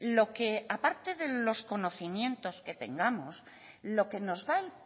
lo que aparte de los conocimientos que tengamos lo que nos da el